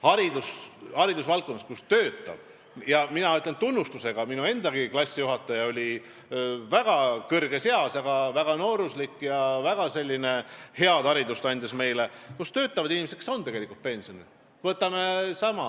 Haridusvaldkonnas töötavad sageli – ma ütlen seda tunnustusega, minu endagi klassijuhataja oli väga kõrges eas, aga väga nooruslik ja andis meile väga head haridust – inimesed, kes on tegelikult juba pensionil.